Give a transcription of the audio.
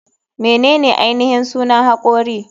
Menene ainihin sunan hakori?